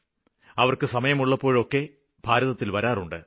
അവര്ക്ക് സമയമുള്ളപ്പോഴൊക്കെ ഭാരതത്തില് വരാറുണ്ട്